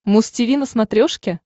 муз тиви на смотрешке